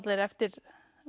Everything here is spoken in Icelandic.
eftir